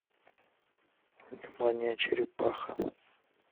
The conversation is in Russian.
внимание черепаха